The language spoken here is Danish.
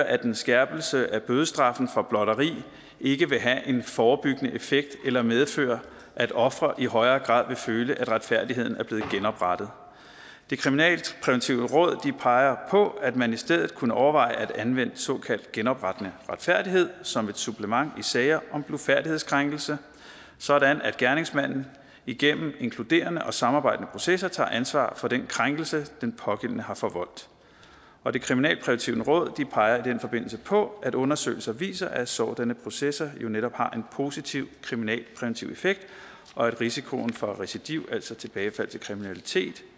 at en skærpelse af bødestraffen for blotteri ikke vil have en forebyggende effekt eller medføre at ofre i højere grad vil føle at retfærdigheden er blevet genoprettet det kriminalpræventive råd peger på at man i stedet for kunne overveje at anvende såkaldt genoprettende retfærdighed som et supplement i sager om blufærdighedskrænkelse sådan at gerningsmanden igennem inkluderende og samarbejdende processer tager ansvar for den krænkelse den pågældende har forvoldt og det kriminalpræventive råd peger i den forbindelse på at undersøgelser viser at sådanne processer jo netop har en positiv kriminalpræventiv effekt og at risikoen for recidiv altså tilbagefald til kriminalitet